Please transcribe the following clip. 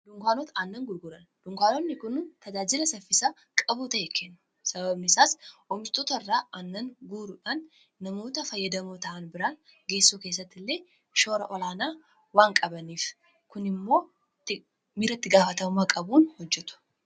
dukkanoon nannaan gurguraan dunkaanotni kun tajaajila saffisaa qabuu ta'e kennuu sabaabnisaas omiishtoota irraa annaan guruudhaan namoota fayyadamoo ta'an biraan geessuu keessatti illee shoora olaanaa waan qabaniif kun immoo miraa itti gaafatamuumaa qabuun hojjetu.